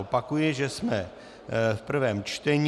Opakuji, že jsme v prvém čtení.